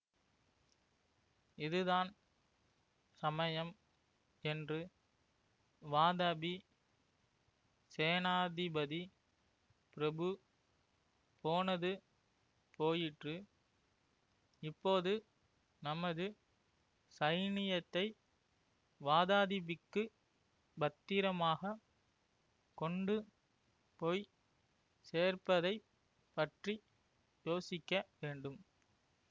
இதுதான் சமயம் என்று வாதாபி சேனாதிபதி பிரபு போனது போயிற்று இப்போது நமது சைனியத்தை வாதாதிபிக்குப் பத்திரமாகக் கொண்டு போய் சேர்ப்பதைப் பற்றி யோசிக்க வேண்டும்